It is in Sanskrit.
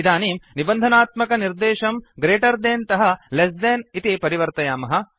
इदानीं निबन्धनात्मक निर्देशं ग्रेटर् देन् तः लेस् देन् इति परिवर्तयामः